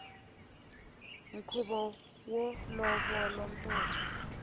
khuvo wo lovolo ntombi